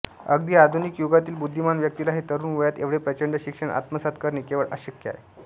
अगदी आधुनिक युगातील बुद्धिमान व्यक्तीलाही तरुण वयात एवढे प्रचंड शिक्षण आत्मसात करणे केवळ अशक्य आहे